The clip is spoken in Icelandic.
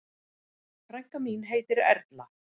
Frænka mín heitir Erla.